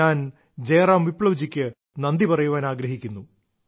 ഞാൻ ജയ്റാം വിപ്ലവ്ജിക്ക് നന്ദിപറയാൻ ആഗ്രഹിക്കുന്നു